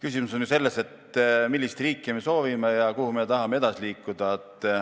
Küsimus on ju selles, millist riiki me soovime ja kuhu me tahame edasi liikuda.